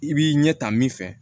I b'i ɲɛ ta min fɛ